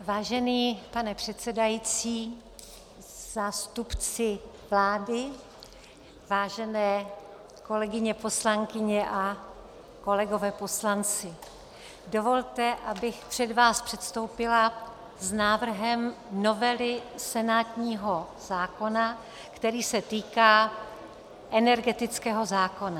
Vážený pane předsedající, zástupci vlády, vážené kolegyně poslankyně a kolegové poslanci, dovolte, abych před vás předstoupila s návrhem novely senátního zákona, který se týká energetického zákona.